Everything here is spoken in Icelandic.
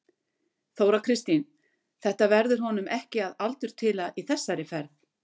Þóra Kristín: Þetta verður honum ekki að aldurtila þessi ferð?